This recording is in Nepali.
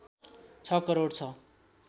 ६ करोड छ